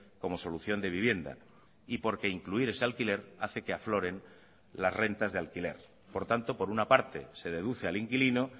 como solución de vivienda y porque incluir ese alquiler hace que afloren las rentas de alquiler por tanto por una parte se deduce al inquilino